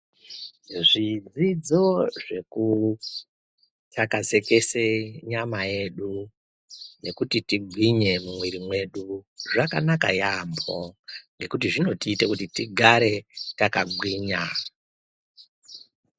Zvidzidzo zvekuthlakazekeze nyama yedu nekuti tigwinye mumwiri mwedu zvakanaka yaamho nekuti zvinotiite kuti tigare takagwinya.